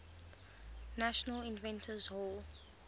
national inventors hall